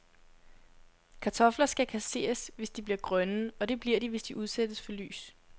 Kartofler skal kasseres, hvis de bliver grønne, og det bliver de, hvis de udsættes for lys.